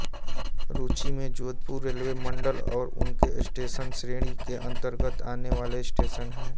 सूची में जोधपुर रेलवे मंडल और उनके स्टेशन श्रेणी के अंतर्गत आने वाले स्टेशन हैं